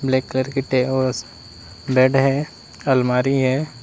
Black colour bed है अलमारी है।